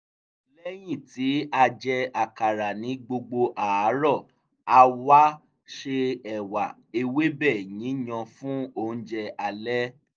lẹ́yìn tí a jẹ àkàrà ní gbogbo àárọ̀ a wá se ẹ̀wà ewébẹ̀ yíyan fún oúnjẹ alẹ́